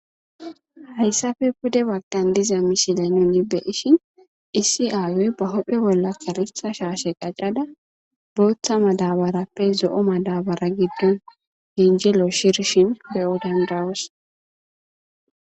hayssape pude baggan diza mishile nu ni beishin issi ayoy ba hophe bolla kalitha shaashe qacada booththa madabarappe zo7o ma dabara giddon henjelo shirshin beyo dendawas